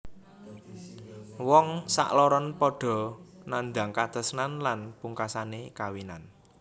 Wong sakloron padha nandhang katresnan lan pungkasane kawinan